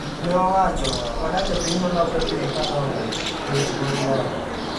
Neowacho, "Wadak e piny malokre pile kadongre, e weche mag lony.